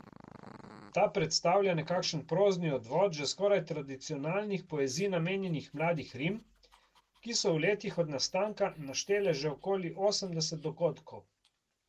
Ta predstavlja nekakšen prozni odvod že skoraj tradicionalnih poeziji namenjenih Mladih rim, ki so v letih od nastanka naštele že okoli osemdeset dogodkov.